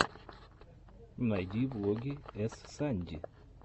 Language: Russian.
найди влоги эс санди